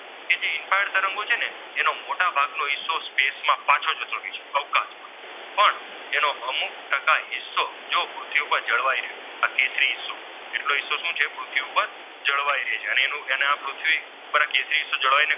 મોટા ભાગનો હિસ્સો gas માં પાછો જતો રહે છે અવકાશમાં પણ એનો અમુક ટકા હિસ્સો જો પૃથી ઉપર જળવાય રહે તથા કેશરી હિસ્સો એટલો હિસ્સો શું છે પૃથ્વી ઉપર જણાવ્યા રહે છે ને પૃથ્વી પાર આ કેશરી હિસ્સો જળવાય રહે